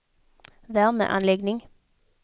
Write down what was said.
värmeanläggning